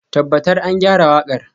Tabbatar an gyara waƙar.